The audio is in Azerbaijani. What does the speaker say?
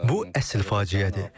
Bu əsl faciədir.